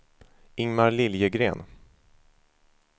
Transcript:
Ingmar Liljegren